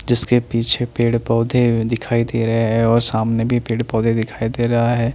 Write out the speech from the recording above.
जिसके पीछे पेड़ पौधे दिखाई दे रहे हैं और सामने भी पेड़ पौधे दिखाई दे रहा है।